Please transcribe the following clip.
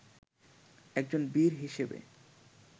একজন বীর হিসেবে